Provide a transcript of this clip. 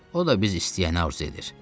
O da biz istəyəni arzu edir.